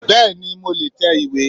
Bẹ́ẹ̀ni mo le è tẹ ìwé